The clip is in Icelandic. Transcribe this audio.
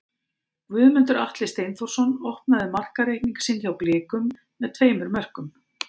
Guðmundur Atli Steinþórsson opnaði markareikning sinn hjá Blikum með tveimur mörkum.